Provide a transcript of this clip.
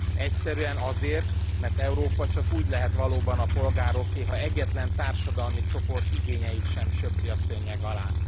Egyszerűen azért, mert Európa csak úgy lehet valóban a polgároké, ha egyetlen társadalmi csoport igényeit sem söpri a szőnyeg alá.